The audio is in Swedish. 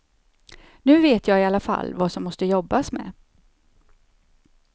Nu vet jag i alla fall vad som måste jobbas med.